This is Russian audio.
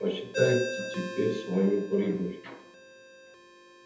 посчитайте теперь свою прибыль